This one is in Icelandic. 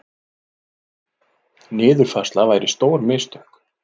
Niðurfærsla væri stór mistök